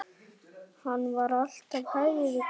Hann var alltaf hægri krati!